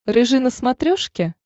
рыжий на смотрешке